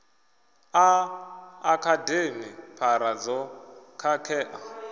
a akademi phara dzo khakhea